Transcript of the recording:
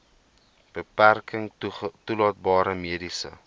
beperking toelaatbare mediese